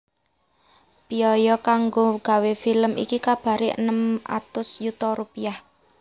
Béaya kanggo gawé film iki kabaré enem atus yuta rupiah